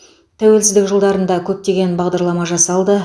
тәуелсіздік жылдарында көптеген бағдарлама жасалды